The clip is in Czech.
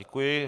Děkuji.